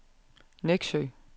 Neksø